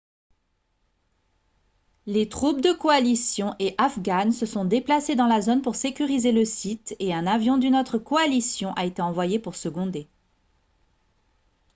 les troupes de coalition et afghanes se sont déplacées dans la zone pour sécuriser le site et un avion d'une autre coalition a été envoyé pour seconder